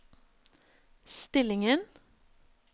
stillingen